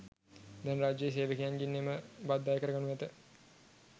දැන් රජයේ සේවකයන්ගෙන් එම බද්ද අය කරනු ඇත.